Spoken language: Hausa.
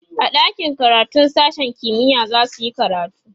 a ɗakin karatun sashen kimiya zasuyi karatu